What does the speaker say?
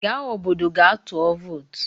Gaa obodo gaa tụọ vootu!